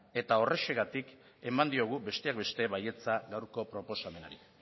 eta horrexegatik eman diogu besteak beste baietza gaurko proposamenari